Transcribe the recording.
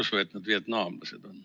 Ma ei usu, et nad vietnamlased on.